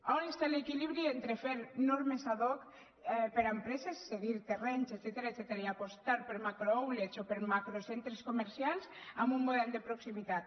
on està l’equilibri entre fer normes ad hocses cedir terrenys etcètera i apostar per macrooutlets o per macrocentres comercials amb un model de proximitat